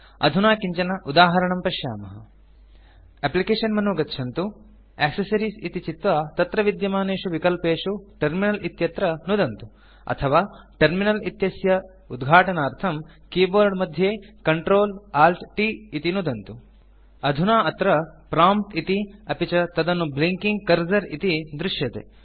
अधुना किञ्चन उदाहरणं पश्यामः एप्लिकेशन मेनु गच्छन्तु एक्सेसरीज़ इति चित्वा तत्र विद्यमानेषु विकल्पेषु टर्मिनल इत्यत्र नुदन्तु अथवा टर्मिनल इत्यस्य उद्घाटनार्थं कीबोर्ड मध्ये CtrlAltT इति नुदन्तु अधुना अत्र prompt इति अपि च तदनु ब्लिंकिंग कर्सर इति दृश्यते